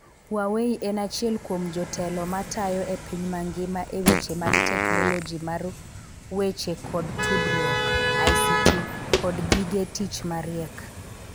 Huawei en achiel kuom jotelo matayo e piny mangima e weche mag teknoloji mar weche koda tudruok (ICT) koda gige tich mariek.